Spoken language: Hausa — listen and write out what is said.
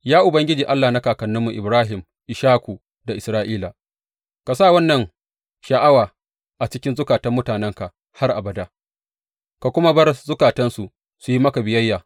Ya Ubangiji Allah na kakanninmu Ibrahim, Ishaku da Isra’ila, ka sa wannan sha’awa a cikin zukatan mutanenka har abada, ka kuma bar zukatansu su yi maka biyayya.